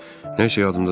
Nəsə yadıma deyil.